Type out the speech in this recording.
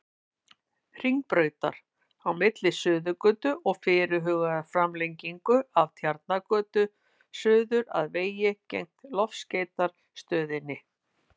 Hringbrautar, á milli Suðurgötu og fyrirhugaðrar framlengingu af Tjarnargötu, suður að vegi gegnt Loftskeytastöðinni.